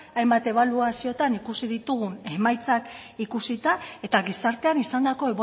hainbat ebaluazioetan ikusi ditugun emaitzak ikusita eta gizartean izandako